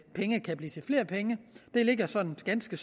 penge kan blive til flere penge det ligger sådan ganske